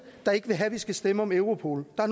der ikke vil have at vi skal stemme om europol og